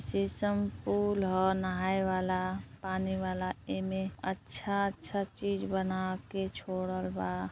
पुल ह नहाए वाला पानी वाला एमें अच्छा अच्छा चीज बनाके छोड़ल बा।